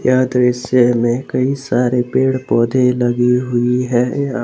यह दृश्य में कई सारे पेड़ पौधे लगी हुई है।